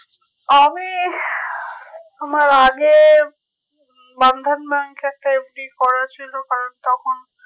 আমি আমার আগে bandhan bank এ একটা FD করা ছিল কারণ তখন